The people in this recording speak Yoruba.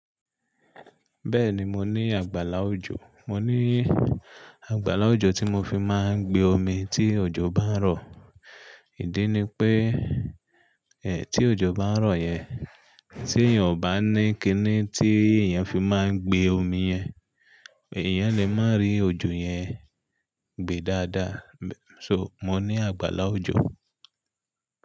Bẹ́ẹ̀ni mo ní àgbàlá òjò, mo ní àgbàlá òjò tí mo fi máa ń gbe omi tí òjò bá ń rọ̀. Ìdí ni pé e tí òjò bá ń rọ̀ yẹn, tí èèyàn ò bá ní kíní tí èèyàn fi máa ń gbe omi yẹn, èèyàn lè má rí òjò yẹn gbe dáadáa. So, mo ní àgbàlá òjò.